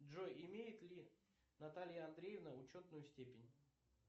джой имеет ли наталья андреевна учетную степень